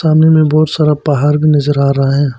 सामने में बहुत सारा पहाड़ भी नजर आ रहा है।